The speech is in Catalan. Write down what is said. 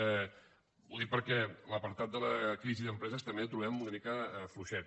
ho dic perquè l’apartat de la crisi d’empreses també el trobem una mica fluixet